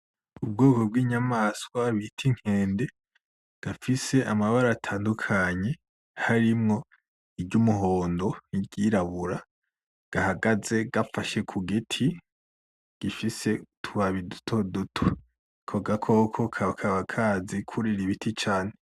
Ubwoko bw'inyamaswa bita inkende gafise amabara atandukanye harimwo iry'umuhondo n'iryirabura gahagaze gafashe kugiti gifise utubabi dutoduto ako gakoko kakaba kazi kwurira ibiti cane .